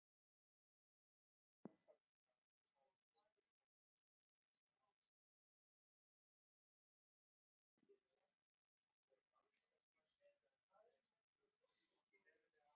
Elísabet: Hvernig er lagið öðruvísi en síðustu ár?